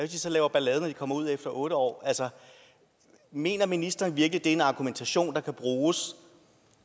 de så laver ballade når de kommer ud efter otte år altså mener ministeren virkelig at er en argumentation der kan bruges